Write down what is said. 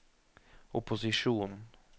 opposisjonen